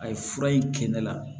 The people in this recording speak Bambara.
A ye fura in kɛ ne la